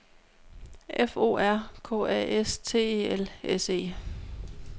F O R K A S T E L S E